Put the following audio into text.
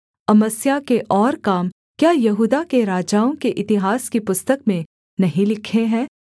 अमस्याह के और काम क्या यहूदा के राजाओं के इतिहास की पुस्तक में नहीं लिखे हैं